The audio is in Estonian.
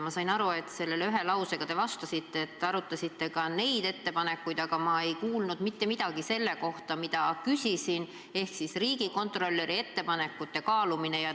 Ma sain aru, et te selle kohta ühe lausega vastasite – et te arutasite ka neid ettepanekuid –, aga ma ei kuulnud mitte midagi selle kohta, mida ma küsisin, ehk siis riigikontrolöri ettepanekute kaalumise kohta.